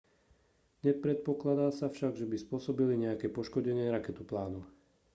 nepredpokladá sa však že by spôsobili nejaké poškodenie raketoplánu